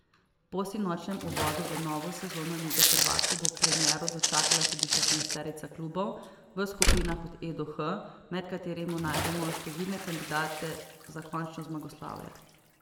Po sinočnjem uvodu v novo sezono lige prvakov bo premiero dočakala tudi šestnajsterica klubov v skupinah od E do H, med katerimi najdemo številne kandidate za končno zmagoslavje.